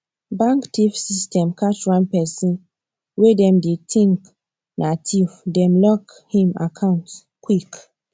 bank theif system catch one person way them dey think na theif dem lock him account quick